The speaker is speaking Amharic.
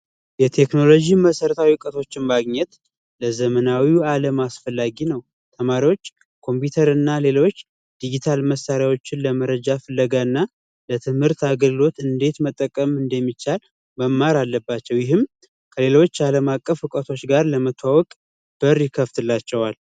የቴክኖሎጂ መሰረታዊ እውቀቶች ማግኘት ለዘመናዊ አለም አስፈላጊ ነው ተማሪዎች ኮምፒውተር እና ሌሎች ዲጂታል መሳሪያዎችን ለመረጃ ፍለጋና ለትምህርት አገልግሎት እንዴት መጠቀም እንደሚቻል መማር አለባቸው ይህም ከሌሎች ለመተዋወቅ በር ይከፍትላቸዋል